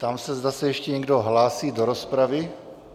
Ptám se, zda se ještě někdo hlásí do rozpravy.